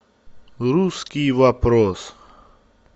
русский вопрос